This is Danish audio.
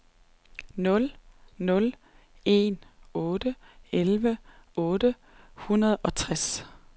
nul nul en otte elleve otte hundrede og tres